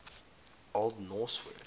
old norse word